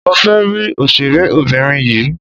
Mo fẹ́ rí òṣèré obìnrin yìí.